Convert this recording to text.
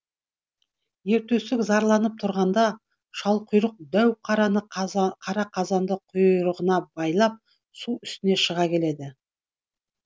ер төстік зарланып тұрғанда шалқұйрық дәу дәу қара қазанды құйрығына байлап су үстіне шыға келеді